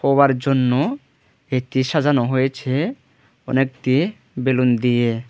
War জন্য এটি সাজানো হয়েছে অনেকটি বেলুন দিয়ে।